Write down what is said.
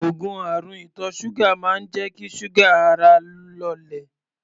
Òogùn àrùn ìtọ̀ ṣúgà máa ń jẹ́ kí ṣúgà ara lọlẹ̀.